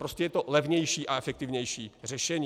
Prostě je to levnější a efektivnější řešení.